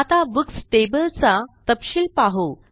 आता books table चा तपशील पाहू